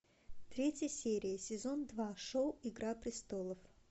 третья серия сезон два шоу игра престолов